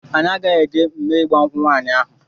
Anyị agaghị eje mme ịgba nkwụ nwaanyị ahụ.